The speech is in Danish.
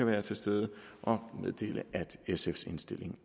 være til stede og meddele at sfs indstilling